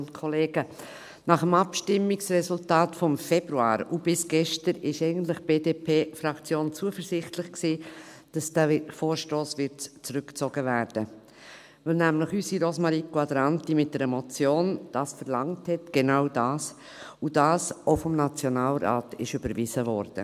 Nach dem Abstimmungsresultat von Februar und bis gestern war die BDPFraktion eigentlich zuversichtlich, dass dieser Vorstoss zurückgezogen werden würde, weil das unserer Rosmarie Quadranti nämlich mit einer Motion verlangt hat, genau das, und das vom Nationalrat auch überwiesen wurde.